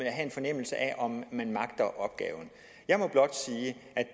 at have en fornemmelse af om man magter opgaven jeg må blot sige